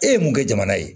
E ye mun kɛ jamana ye